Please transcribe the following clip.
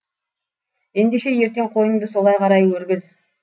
ендеше ертең қойыңды солай қарай өргіз